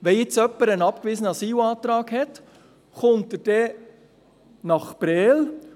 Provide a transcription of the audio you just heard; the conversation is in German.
Wenn jetzt jemand einen abgewiesenen Asylantrag hat, kommt er dann nach Prêles?